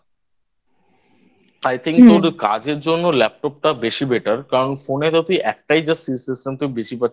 I Think তোর একটু কাজের জন্য Laptop টা বেশি Better কারণ Phone এ যদি একটাই Just System থেকে বেশি পাচ্ছিস